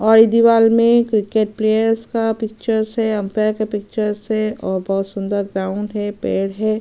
और इस दीवाल में क्रिकेट प्लेयर्स का पिक्चर से अंपायर के पिक्चर से और बहुत सुन्दर ग्राउंड है पेड़ है।